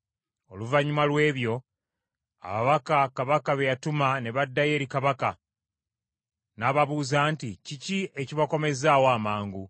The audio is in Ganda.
Oluvannyuma lw’ebyo, ababaka kabaka be yatuma ne baddayo eri kabaka, n’ababuuza nti, “Kiki ekibakomezaawo amangu?”